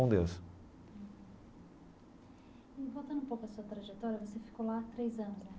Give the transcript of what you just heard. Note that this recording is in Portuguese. Com Deus. E voltando um pouco a sua trajetória, você ficou lá três anos, né?